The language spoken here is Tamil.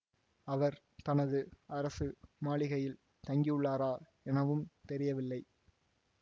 அவர் தனது அரசு மாளிகையில் தங்கியுள்ளாரா எனவும் தெரியவில்லை